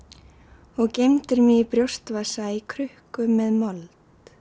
og geymd mig í brjóst vasa í krukku með mold